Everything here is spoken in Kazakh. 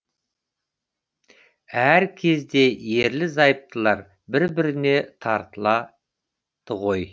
әр кезде ерлі зайыптылар бір біріне тартылады ғой